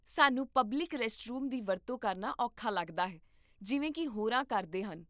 ਸਾਨੂੰ public restroom ਦੀ ਵਰਤੋਂ ਕਰਨਾ ਔਖਾ ਲੱਗਦਾ ਹੈ ਜਿਵੇਂ ਕੀ ਹੋਰਾਂ ਕਰਦੇ ਹਨ